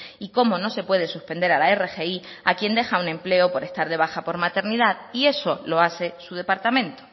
y como no se puede suspender a la rgi a quien deja un empleo un empleo por estar de baja por maternidad y eso lo hace su departamento